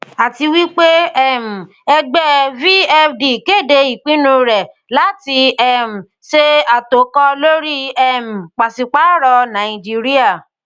àtiwípé um ẹgbẹ vfd kéde ìpinnu rẹ láti um ṣe àtòkọ lóri um pàṣípààrọ nàìjíríà